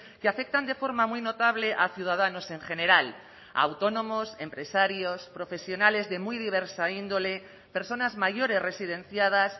que afectan de forma muy notable a ciudadanos en general a autónomos empresarios profesionales de muy diversa índole personas mayores residenciadas